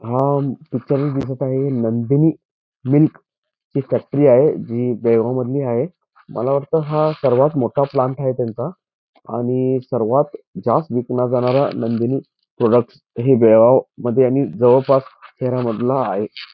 हा पिक्चर दिसत आहे नंदिनी मिल्क ची फॅक्टरी आहे जी बेळगाव मधली आहे मला वाटत हा सर्वात मोठा प्लांट आहे त्यांचा आणि सर्वात जास्त विकला जाणारा नंदिनी प्रॉडक्ट्स हे बेळगाव मध्ये आणि जवळपास शहरामधला आहे.